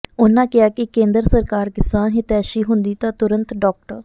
ਉਨ੍ਹਾਂ ਕਿਹਾ ਕਿ ਕੇਂਦਰ ਸਰਕਾਰ ਕਿਸਾਨ ਹਿਤੈਸ਼ੀ ਹੁੰਦੀ ਤਾਂ ਤੁਰੰਤ ਡਾ